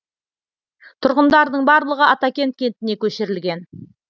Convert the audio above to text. тұрғындардың барлығы атакент кентіне көшірілген